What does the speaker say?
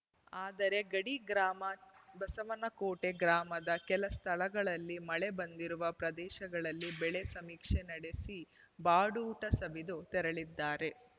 ಆದರೆ ಗಡಿ ಗ್ರಾಮ ಬಸವನಕೋಟೆ ಗ್ರಾಮದ ಕೆಲ ಸ್ಥಳಗಳಲ್ಲಿ ಮಳೆ ಬಂದಿರುವ ಪ್ರದೇಶಗಳಲ್ಲಿ ಬೆಳೆ ಸಮೀಕ್ಷೆ ನಡೆಸಿ ಬಾಡೂಟ ಸವಿದು ತೆರಳಿದ್ದಾರೆ